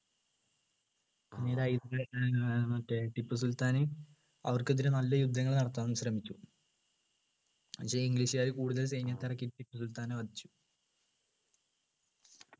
പിന്നീട് ഏർ മറ്റെ ടിപ്പുസുൽത്താൻ അവർക്കെതിരെ നല്ല യുദ്ധങ്ങൾ നടത്താൻ ശ്രമിച്ചു പക്ഷേ english കാര് കൂടുതൽ സൈന്യത്തെ ഇറക്കി ടിപ്പുസുൽത്താനെ വധിച്ചു